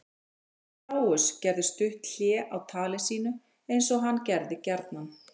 Herra Kláus gerði stutt hlé á tali sínu eins og hann gerði gjarnan.